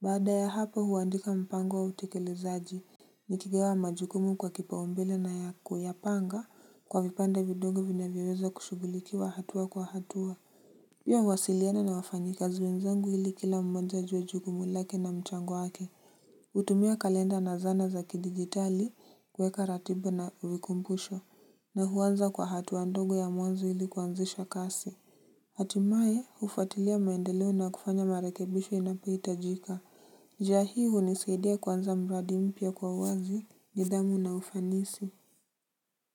Baada ya hapo huandika mpango wa utekelezaji. Nikigawa majukumu kwa kipaumbele na kuyapanga kwa vipande vidongo vinavyoweza kushugulikiwa hatua kwa hatua. Pia huwasiliana na wafanyikazi wenzengu ili kila mmoja ajue jukumu lake na mchango wake. Hutumia kalenda na zana za kidigitali kuweka ratiba na vikumbusho na huanza kwa hatua ndogo ya mwanzo ili kuanzisha kasi. Hatimaye, hufatilia maendeleo na kufanya marekebisho inapotajika. Njia hii hunisaidia kuanza mradi mpya kwa uwazi, nidhamu na ufanisi.